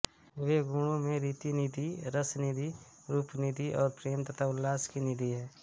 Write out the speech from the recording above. वे गुणों में रतिनिधि रसनिधि रूपनिधि और प्रेम तथा उल्लास की निधि हैं